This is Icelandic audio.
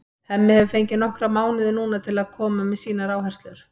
Hemmi hefur fengið nokkra mánuði núna til að koma með sínar áherslur.